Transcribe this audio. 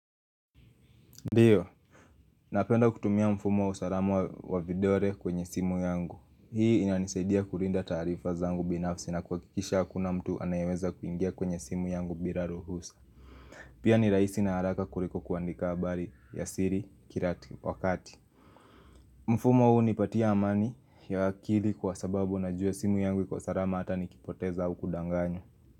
Ndiyo, napenda kutumia mfumo wa usalama wa vidole kwenye simu yangu. Hii inanisaidia kulinda taarifa zangu binafsi na kuhakikisha hakuna mtu anayeweza kuingia kwenye simu yangu bila ruhusa. Pia ni rahisi na haraka kuliko kuandika habari ya siri kila wakati. Mfumo huu hunipatia amani ya akili kwa sababu najua simu yangu iko salama hata nikipoteza au kudanganywa.